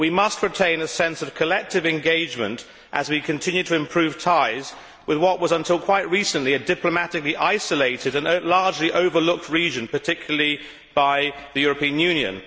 But we must retain a sense of collective engagement as we continue to improve ties with what was, until quite recently, a diplomatically isolated and largely overlooked region, particularly by the European Union.